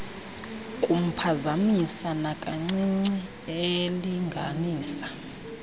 kumphazamisa nakancinci elinganisa